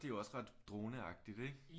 Det er jo også ret droneagtigt ikke